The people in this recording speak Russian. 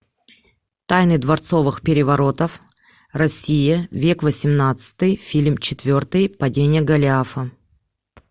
тайны дворцовых переворотов россия век восемнадцатый фильм четвертый падение голиафа